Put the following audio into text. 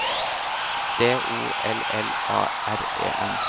D O L L A R E N